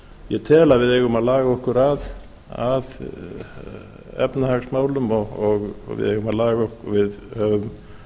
ég tel að við eigum að laga okkur að efnahagsmálum og við höfum